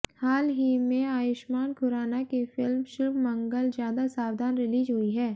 हाल ही में आयुष्मान खुराना की फिल्म शुभ मंगल ज्यादा सावधान रिलीज हुई है